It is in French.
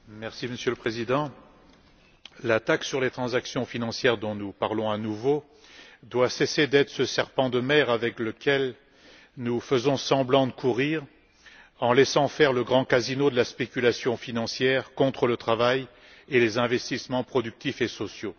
Monsieur le Président, la taxe sur les transactions financières, dont nous parlons à nouveau, doit cesser d'être ce serpent de mer avec lequel nous faisons semblant de courir en laissant faire le grand casino de la spéculation financière contre le travail et les investissements productifs et sociaux.